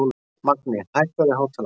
Magni, hækkaðu í hátalaranum.